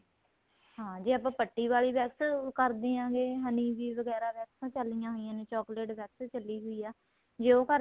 ਹਾਂ ਜੇ ਆਪਾਂ ਪੱਟੀ ਵਾਲੀ wax ਕਰਦਿਆ ਗਿਆ honey ਦੀ ਵਗੇਰਾ wax ਚੱਲੀਆਂ ਹੋਈਆਂ ਨੇ chocolate wax ਚੱਲੀ ਹੋਈ ਏ ਜੇ ਉਹ ਕਰਦੇ